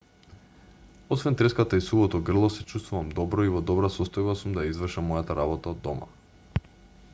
освен треската и сувото грло се чувствувам добро и во добра состојба сум да ја извршам мојата работа од дома